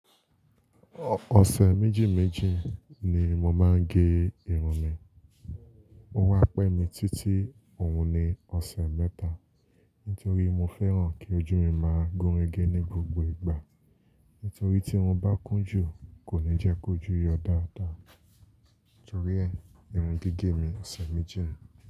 Ọsẹ̀ méjìméjì ni mo máa ń gé irun mi. O wá pẹ́ mi títì òun ni ọ̀sẹ̀ mẹ́ta. Nítorí mo fẹ́ràn kí ojú mi máa gún régé ní gbogbo ìgbà. Nítorí tí mo bá kún jù, kò ní jẹ́ kójú yọ dáadáa. Nítorí ẹ, irun gbígẹ̀ mi ọ̀sẹ̀ méjì ń.